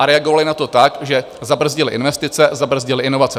A reagovaly na to tak, že zabrzdily investice, zabrzdily inovace.